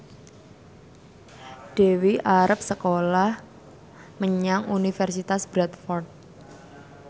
Dewi arep sekolah menyang Universitas Bradford